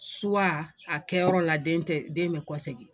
a kɛyɔrɔ la den tɛ den bɛ kɔsegin